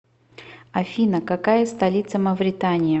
афина какая столица мавритания